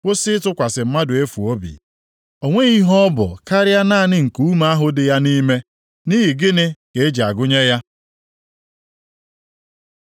Kwụsị ịtụkwasị mmadụ efu obi. O nweghị ihe ọ bụ karịa naanị nkuume ahụ dị ya nʼime, nʼihi gịnị ka e ji agụnye ya?